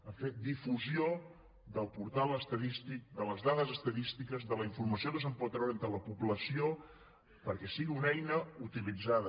a fer difusió del portal estadístic de les dades estadístiques de la informació que se’n pot treure entre la població perquè sigui una eina utilitzada